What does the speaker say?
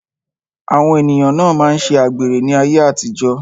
Àwọn ènìyàn na máa ṣe àgbèrè ní ayé àtijó.